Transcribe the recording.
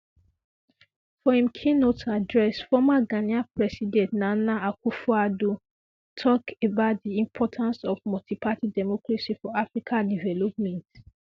for im keynote address former ghanaian president nana akufoaddo tok about di importance of multiparty democracy for africa development